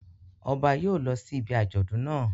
Ọba yóò lọ sí ibi àjọ̀dún naa